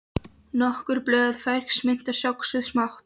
Nokkur blöð fersk mynta söxuð smátt